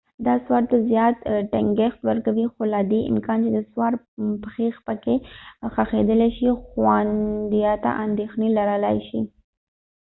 دا سوار ته زیات ټینګښت ورکوي خو له دې امکان چې د سوار پښې پکې ښخېدلای شي د خوندیتیا اندېښنې لرلای شي